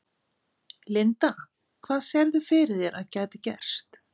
Linda: Hvað sérðu fyrir þér að gæti gerst?